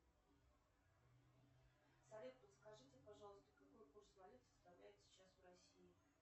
салют подскажите пожалуйста какой курс валют составляет сейчас в россии